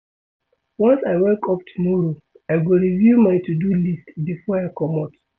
Once I wake up tomorrow, I go review my to-do list before I comot.